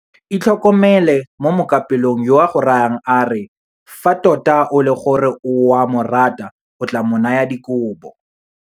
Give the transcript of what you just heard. Itlhokomele mo mookapelong yo a go rayang a re fa tota e le gore o a morata o tla mo naya dikobo.